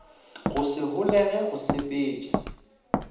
go se holege go sepetša